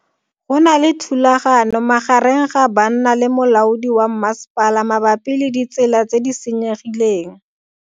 Go na le thulano magareng ga banna le molaodi wa masepala mabapi le ditsela tse di senyegileng.